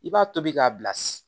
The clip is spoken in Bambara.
I b'a tobi k'a bilasira